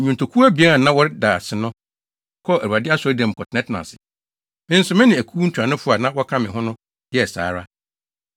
Nnwontokuw abien a na wɔreda ase no kɔɔ Awurade Asɔredan mu kɔtenatenaa ase. Me nso me ne akuw ntuanofo a na wɔka me ho no yɛɛ saa ara.